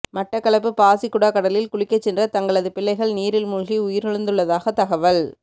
மட்டக்களப்பு பாசிக்குடா கடலில் குளிக்கச் சென்ற தங்களது பிள்ளைகள் நீரில் மூழ்கி உயிரிழந்துள்ளதாக தகவல்